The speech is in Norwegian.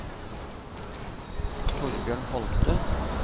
Thorbjørn Holte